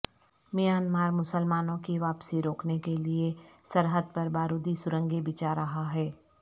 Myanmar مسلمانوں کی واپسی روکنے کے لئے سرحد پر بارودی سرنگیں بچھا رہا ہے